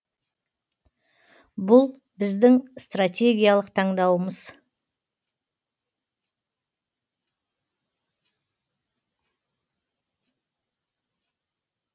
бұл біздің стратегиялық таңдауымыз